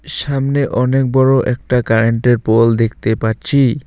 সামনে অনেক বড় একটা কারেন্ট -এর পোল দেখতে পাচ্ছি।